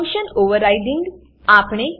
function overriding function overriding